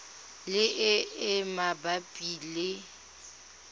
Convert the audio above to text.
le e e mabapi le